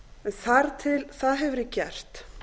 þar til það hefur verið gert